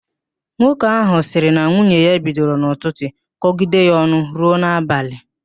Nwoke ahụ sịrị na nwunye ya bidoro n'ụtụtụ kọgide ya ọnụ ruo n'abalị